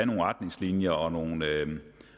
nogle retningslinjer og nogle